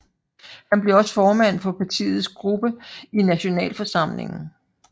Han bliver også formand for partiets gruppe i Nationalforsamlingen